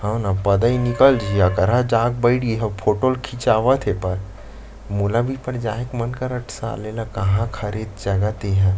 हव न पदई निकल जहि अकरहा जाके बइठ गे हे अउ फोटो ल खीचावत हेबय मोला भी एकबार जाए के मन करत साले ल कहाँ क हरय जगह तेहा --